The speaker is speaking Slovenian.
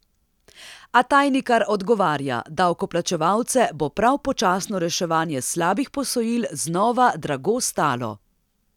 A Tajnikar odgovarja: "Davkoplačevalce bo prav počasno reševanje slabih posojil znova drago stalo".